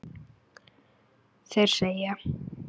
Þeir segja